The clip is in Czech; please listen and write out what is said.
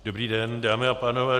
Dobrý den, dámy a pánové.